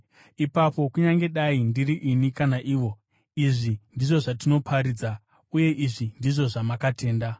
Ipapo kunyange dai ndiri ini kana ivo, izvi ndizvo zvatinoparidza, uye izvi ndizvo zvamakatenda.